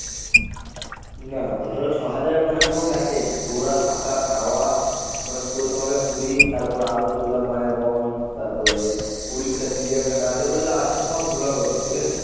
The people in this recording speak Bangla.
না ধর ছ’হাজার মানে পুরো package ঘোরা থাকা খাওয়া মানে পুরো তোমাকে পুরী তারপরে আরো যেগুলা মায়াবন তারপরে উড়িষ্যার চিড়িয়াখানা যত যা আছে সব ঘুরাবে ওরা। ঠিকাছে?